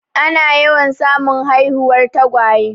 Ana yawan samun haihuwar tagwaye.